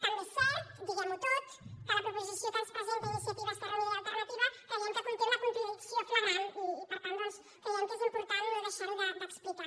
també és cert diguem ho tot que la proposició que ens presenta iniciativa esquerra unida i alternativa creiem que conté una contradicció flagrant i per tant doncs creiem que és important no deixar ho d’explicar